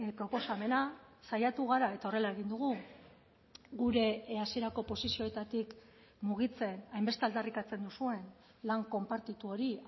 proposamena saiatu gara eta horrela egin dugu gure hasierako posizioetatik mugitzen hainbeste aldarrikatzen duzuen lan konpartitu hori